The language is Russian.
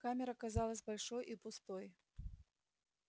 камера казалась большой и пустой